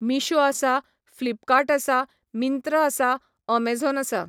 मिशो आसा, फ्लिपकाट आसा, मिंत्रा आसा, अमेझोन आसा.